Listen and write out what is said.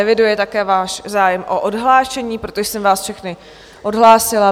Eviduji také váš zájem o odhlášení, proto jsem vás všechny odhlásila.